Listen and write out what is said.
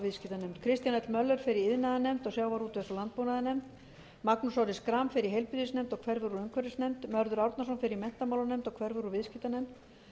viðskiptanefnd kristján l möller fer í iðnaðarnefnd og sjávarútvegs og landbúnaðarnefnd magnús orri schram fer í heilbrigðisnefnd og hverfur úr umhverfisnefnd mörður árnason fer í menntamálanefnd og hverfur úr viðskiptanefnd